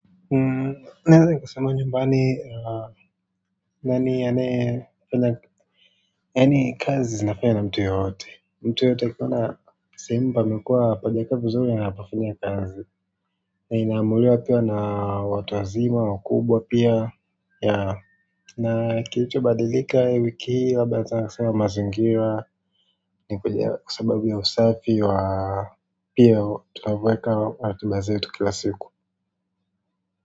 Naweza nikasema nyumbani, nani anaye fanya yaani kazi zinafanywa na mtu yeyote mtu yeyote akiona sehemu pamekuwa hapajakaa vizuri anapafanyia kazi. Na inaamuliwa pia na watu wazima, wakubwa pia. Ya, na kilicho badalika wiki hii labda sana sana mazingira, ni kwa sababu ya usafi wa pia tunavyoweka ratiba zetu kila siku.